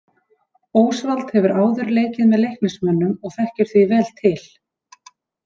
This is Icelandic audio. Ósvald hefur áður leikið með Leiknismönnum og þekkir því vel til.